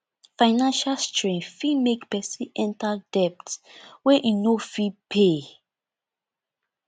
financial strain fit make person enter debt wey im no fit pay